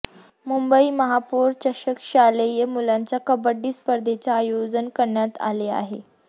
मुंबई महापौर चषक शालेय मुलांच्या कबड्डी स्पर्धेचे आयोजन करण्यात आले आहे